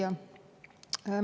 Hea küsija!